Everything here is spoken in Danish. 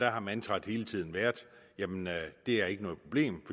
har mantraet hele tiden været det er ikke noget problem